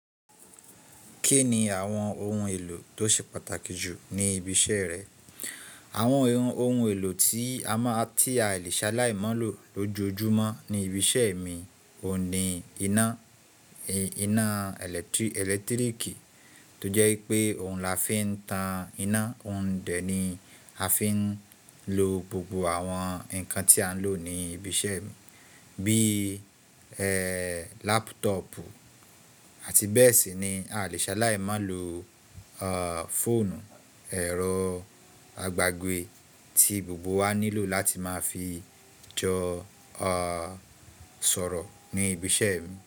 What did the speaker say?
Kí ni àwọn ohun èlò tó ṣe pàtàkì jù ní ibi iṣẹ́ rẹ? Àwọn ohun èlò tí a lè ṣaláì mọ́ lò lójoojúmọ́ ní ibi iṣẹ́ mi ò ní iná, iná ẹ̀lẹ́tíríkì tó jẹ́ wípé ohun la fi ń tan iná. Ohun dẹ̀ ni a fi ń lo gbogbo àwọn ǹkan tí à ń lò ní ibi iṣẹ́ mi bí laptop àti bẹ́ẹ̀ sì ni a lè ṣaláì mọ́ lò Fóònù, ẹ̀rọ àgbàgbé tí gbogbo wa nílò láti máa fi jọ sọ̀rọ̀ ní ibi iṣẹ́ mi.